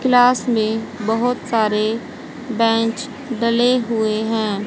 Class में बहोत सारे बेंच डले हुए हैं।